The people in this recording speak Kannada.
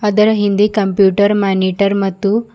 ಅದರ ಹಿಂದೆ ಕಂಪ್ಯೂಟರ್ ಮಾನಿಟರ್ ಮತ್ತು--